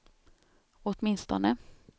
åtminstone